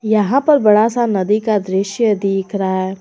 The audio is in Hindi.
यहां पर बड़ा सा नदी का दृश्य दिख रहा है।